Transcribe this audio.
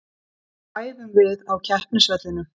Þá æfum við á keppnisvellinum.